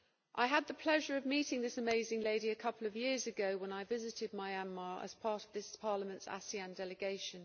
I had the pleasure of meeting this amazing lady a couple of years ago when I visited Myanmar as part of this Parliament's ASEAN delegation.